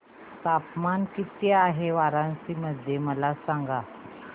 तापमान किती आहे वाराणसी मध्ये मला सांगा